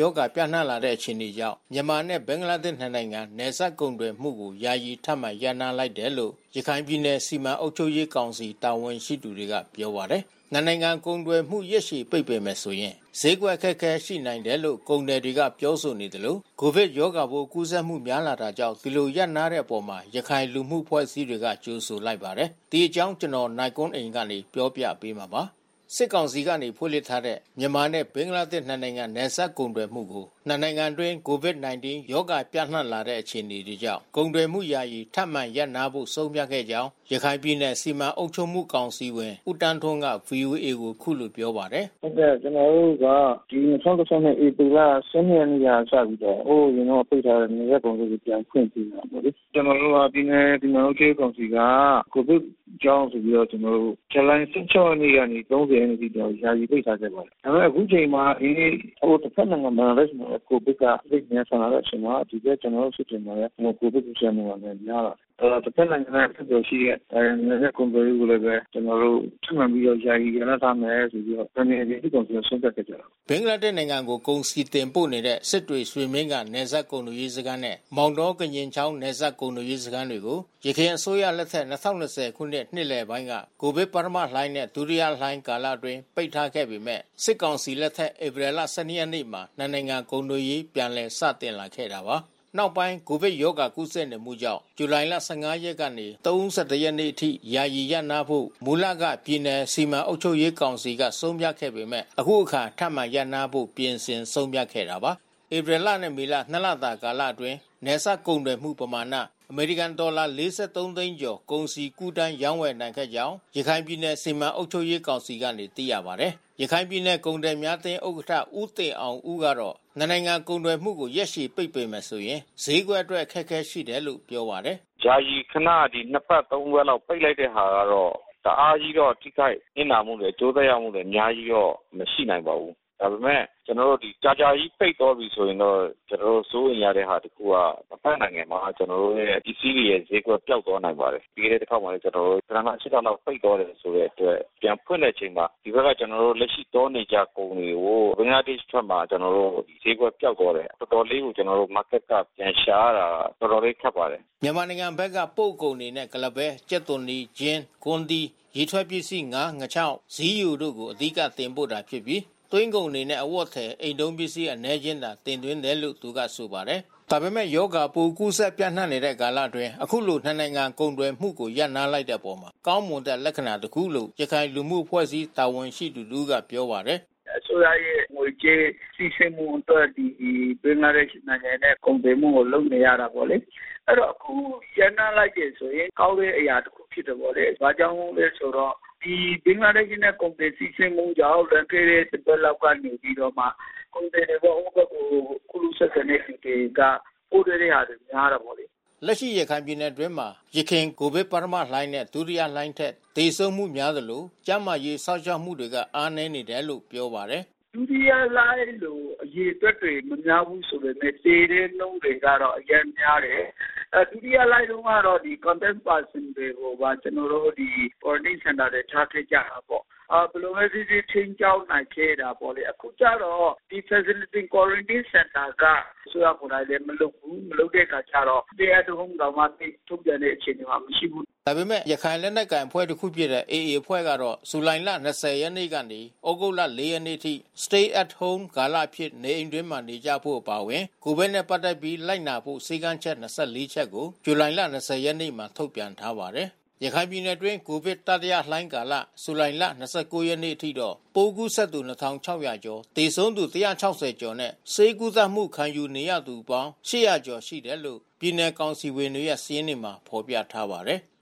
ရာဂါပြန့်နှံ့လာတဲ့အခြေအနေကြောင့် မြန်မာနဲ့ဘင်္ဂလားဒေ့ရှ် နှစ်နိုင်ငံ နယ်စပ်ကုန်သွယ်မှုကို ယာယီထပ်မံ ရပ်နားထားလိုက်တယ်လို့ ရခိုင်ပြည်နယ်စီမံအုပ်ချုပ်မှုကောင်စီ တာဝန်ရှိသူတွေကပြောပါတယ်။ နှစ်နိုင်ငံကုန်သွယ်မှု ရက်ရှည် ပိတ်ပင်မယ်ဆိုရင် ဈေးကွက်အခက်ခဲရှိနိုင်တယ်လို့ ကုန်သည်တွေကပြောဆိုနေသလိုCOVID ရောဂါပိုးကူးစက်မှုများလာတာကြောင့် ဒီလိုရပ်နားလိုက်တဲ့အပေါ်ရခိုင်လူမှုအဖွဲ့အစည်းတွေက ကြိုဆိုလိုက်ပါတယ်။ ဒီအကြောင်း ဗွီအိုအေ သတင်းထောက် နိုင်ကွန်းအိန်က စုံစမ်းတင်ပြထားပါတယ်။ စစ်ကောင်စီက ဖွင့်လှစ်ထားတဲ့ မြန်မာနဲ့ဘင်္ဂလားဒေ့ရှ် နှစ်နိုင်ငံနယ်စပ်ကုန်သွယ်မှုကို နှစ်နိုင်ငံအတွင်း COVID-19 ရောဂါပြန့်နှံ့လာတဲ့အခြေအနေကြောင့် ကုန်သွယ်မှု ယာယီထပ်မံရပ်နားဖို့ဆုံးဖြတ်ခဲ့ကြောင်း ရခိုင်ပြည်နယ်စီမံအုပ်ချုပ်မှု ကောင်စီဝင်ဦးသန်းထွန်းက ဗွီအိုအေကိုအခုလိုပြောပါတယ်။ “ဟုတ်ကဲ့၊ ကျနော်တို့က ၂၀၂၁ ဧပြီလ ရက်နေ့ကစပြီးတော့ ဟိုးအရင်တုန်းက ပိတ်ထားတဲ့ နယ်စပ်ကုန်သွယ်ရေးကို ပြန်ဖွင့်ပေးတယ်ပေါ့လေ။ ပြည်နယ်အုပ်ချုပ်ရေးကောင်စီက ကိုဗစ်ကြောင့်ဆိုပြီးတော့ ဇူလိုင် ရက်နေ့ ကနေ ရက်နေ့အထိတော့ ယာယီပိတ်ထားဆဲပေါ့။ ဒါပေမဲ့ အခုချိန်မှာ ဒီနေ့ ဟိုတဘက်နိုင်ငံမှာလည်း ကိုဗစ်က စိမ့်ဝင်လာတဲ့အချိန်မှာ ဒီဘက်ကျနော်တို့ စစ်တွေမှာလည်း ကိုဗစ်ကူးစက်မှုက များလာတယ်။ အဲဒီတော့ တဘက်နိုင်ငံမှာ အဆက်သွယ်ရှိတဲ့ နယ်စပ်ကုန်သွယ်ရေးကိုလည်းပဲ ကျနော်တို့ ထပ်မံပြီးတော့ ယာယီရပ်နားထားမယ်ဆိုပြီးတော့ ရခိုင်ပြည်နယ် အုပ်ချုပ်ရေးကောင်စီကဆုံးဖြတ်ချက်ပေါ့လေ။” ဘင်္ဂလားဒေ့ရှ်ကို ကုန်စည်တင်ပို့နေတဲ့ စစ်တွေ-ရွှေမင်းဂံ နယ်စပ်ကုန်သွယ်ရေးစခန်းနဲ့ မောင်တော-ကညင်ချောင်း နယ်စပ်ကုန်သွယ်ရေးစခန်းတွေကို ယခင်အစိုးရ လက်ထက် ၂၀၂၀ ခုနှစ် နှစ်လယ်ပိုင်းက ကိုဗစ်ပထမလှိုင်းနဲ့ဒုတိယလှိုင်း ကာလ အတွင်း ပိတ်ထားခဲ့ပေမဲ့ စစ်ကောင်စီလက်ထက် ဧပြီလ ၁၂ ရက်နေ့မှာ နှစ်နိုင်ငံကုန်သွယ်ရေးပြန်စတင် လာခဲ့တာပါ။ နောက်ပိုင်း ကိုဗစ်ရောဂါကူးစက်နေမှုကြောင့် ဇူလိုင်လ ၁၅ ရက်ကနေ ၃၁ ရက်နေ့ အထိ ယာယီရပ်နားဖို့ မူလက ပြည်နယ် စီမံအုပ်ချုပ်ရေးကောင်စီက ဆုံးဖြတ်ခဲ့ပေမဲ့ ယခုအခါ ထပ်မံရပ်နားဖို့ ပြင်ဆင်ဆုံးဖြတ်ခဲ့တာပါ။ ဧပြီလနဲ့ မေလ နှစ်လတာ ကာလအတွင်း နယ်စပ်ကုန်သွယ်မှုပမာဏ အမေရိကန်ဒေါ်လာ ၄၃ သိန်းကျော် ကုန်စည် ကူးသန်းရောင်းဝယ်နိုင်ခဲ့ကြောင်း ရခိုင်ပြည်နယ်စီမံအုပ်ချုပ်ရေးကောင်စီကနေ သိရပါတယ်။ ရခိုင်ပြည်နယ်ကုန်သည်များအသင်း ဥက္ကဋ္ဌ ဦးတင်အောင်ဦးကတော့ နှစ်နိုင်ငံကုန်သွယ်မှုကို ရက်ရှည်ပိတ်ပင်မယ်ဆိုရင် ဈေးကွက်အတွက်အခက်ခဲရှိတယ်လို့ ပြောပါတယ်။ “ယာယီခန၊ ဒီနှစ်ပတ် သုံးပတ်လောက် ပိတ်လိုက်တဲ့ဟာကတော့ တအားကြီးတော့ ထိခိုက်နစ်နာမှုတော့ အကျိုးသက်ရောက်မှုက အများကြီးတော့မရှိနိုင်ပါဘူး။ ဒါပေမဲ့ ကြာကြာကြီးပိတ်သွားပြီဆိုရင်တော့ စိုးရိမ်ရတာက တဘက်နိုင်ငံမှာ ကျနော်တို့ ပစ္စည်းတွေရဲ့ဈေးကွက်ပျောက်သွားနိုင်ပါတယ်။ ပြီးခဲ့တဲ့တခေါက်မှာလည်း လ လလောက် ပိတ်သွားတဲ့အတွက် ပြန်ဖွင့်တဲ့အချိန်မှာ ဒီဘက်ကလက်ရှိသွားနေကျကုန်တွေကို ဘင်္ဂလားဒေ့ရှ်ဘက်မှာ ကျနော်တို့ ဈေးကွက်ပျောက်သွားတယ်။ Marketက ပြန်ရှာရတာ တော်တော်လေး ခက်ပါတယ်။” မြန်မာနိုင်ငံဘက်ကပို့ကုန်အနေနဲ့ ကုလားပဲ၊ ကြက်သွန်နီ၊ ချင်း ၊ ကွမ်းသီး ၊ ရေထွက်ပစ္စည်း၊ ငါး၊ ငါးခြောက်၊ ဇီးယိုတို့ကို အဓိကတင်ပို့တာဖြစ်ပြီး သွင်းကုန်အနေနဲ့ အဝတ်အထည်၊ အိမ်သုံးပစ္စည်းအနည်းအကျဉ်းသာ တင်သွင်းတယ်လို့ သူကဆိုပါတယ်။ ဒါပေမဲ့ရောဂါပိုးကူးစက်ပြန့်နှံ့နေတဲ့ကာလအတွင်း အခုလို နှစ်နိုင်ငံကုန်သွယ်မှု ရပ်နားလိုက်တဲ့အပေါ် ကောင်းမွန်တဲ့လက္ခဏာ တခုလို့ ရခိုင်လူမှုအဖွဲ့အစည်းတာဝန်ရှိသူတဦးကပြောပါတယ်။ “အစိုးရရဲ့ငွေကြေးစီးဆင်းမှုအတွက် ဒီဘင်္ဂလားဒေ့ရှ်နိုင်ငံနဲ့ကုန်သွယ်နေရတာပေါ့လေ။ အခုရပ်နားလိုက်တယ်ဆိုရင် ကောင်းတဲ့အရာတခုဖြစ်တယ်ပေါ့လေ။ ဘာကြောင့်လဲဆိုတော့ ဒီဘင်္ဂလားဒေ့ရ်ှနဲ့ကုန်သွယ်စီးဆင်းမှုကြောင့် လွန်ခဲ့တဲ့တပတ်က ကုန်သည်တွေပေါ့- ဟိုဘက်ကို ကူးလူးဆက်ဆံတဲ့သူတွေက ပိုးတွေ့တဲ့ဟာများတာပေါ့လေ။” လက်ရှိရခိုင်ပြည်နယ်အတွင်းမှာ ယခင်ကိုဗစ်ပထမလှိုင်းနဲ့ ဒုတိယလှိုင်းထက် သေဆုံးမှုများသလို ကျန်းမာရေးစောင့်ရှောက် မှုတွေက အားနည်းနေတယ်လို့ ပြောပါတယ်။ “ဒုတိယလှိုင်းလိုအရေအတွက်တွေမများဘူးဆိုပေမယ့် သေတဲ့နှုန်းတွေကအရမ်းများတယ်။ အဲဒုတိယလှိုင်းတုန်းက Contact Person တွေကိုပါ Quarantine စင်တာတွေထားခဲ့ကြတာပေါ့။ ဘယ်လိုပဲဖြစ်ဖြစ် ထိန်းကျောင်းနိုင်ခဲ့တယ်ပေါ့။ အခုကျတော့ ဒီ Facility Quarantineစင်တာက အစိုးရကိုယ်တိုင်လည်း မလုပ်ဘူး။ မလုပ်တဲ့အခါကျတော့ Stay at Home တောင်မှ ထုတ်ပြန်တဲ့အခြေအနေမှာမရှိဘူး။” ဒါပေမဲ့ ရခိုင်လက်နက်ကိုင်အဖွဲ့တခုဖြစ်တဲ့ ရခိုင်လက်နက်ကိုင် AA အဖွဲ့ကတော့ ဇူလိုင်လ ၂၀ ရက်ကနေ သြဂုတ်လ ၄ ရက်နေ့ အထိ Stay at Home ကာလအဖြစ်နေအိမ်အတွင်းနေကြဖို့အပါအဝင် ကိုဗစ်နဲ့ပက်သက်ပြီးလိုက်နာဖို့ စည်းကမ်းချက် ချက်ကို ဇူလိုင်လ ၂၀ ရက်နေ့မှာ ထုတ်ပြန်ထားပါတယ်။ ရခိုင်ပြည်နယ်အတွင်း ကိုဗစ်တိယလှိုင်း ကာလ ဇူလိုင်လ ၂၉ ရက်နေ့အထိ ပိုးကူးစက်သူ ၂,၆၀၀ ကျော် ၊ သေဆုံးသူ ၁၆၀ ကျော် နဲ့ ဆေးကုသမှုခံယူနေရသူ လူပေါင်း ၈၀၀ ကျော်ရှိတယ်လို့ ပြည်နယ်ကောင်စီဝင်တွေရဲ့စာရင်းမှာဖော်ပြထားပါတယ်။